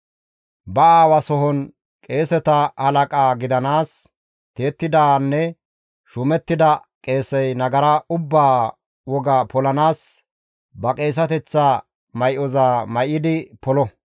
Ba aawa sohon qeeseta halaqa gidanaas tiyettidanne shuumettida qeesey nagara ubbaa woga polanaas ba qeeseteththa may7oza may7idi polo.